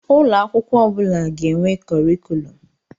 Ụlọ akwụkwọ ọ bụla ga-enwe kọrịkùlum.